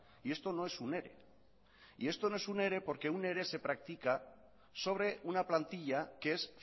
y esto no es un ere y esto no es un ere porque un ere se practica sobre una plantilla que es